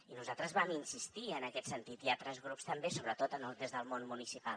i nosaltres vam insistir hi en aquest sentit i altres grups també sobretot des del món municipal